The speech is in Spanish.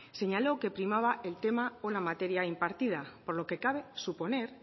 señaló que primaba el tema o la materia impartida por lo que cabe suponer